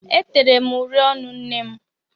E tere uri ọnụ nnem.